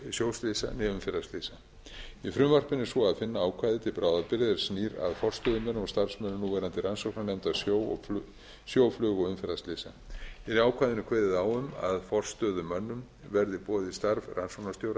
né umferðarslysa í frumvarpinu er svo að finna ákvæði til bráðabirgða er snýr að forstöðumönnum og starfsmönnum núverandi rannsóknarnefndar sjó flug og umferðarslysa er í ákvæðinu kveðið á um að forstöðumönnum verði boðið starf rannsóknarstjóra hjá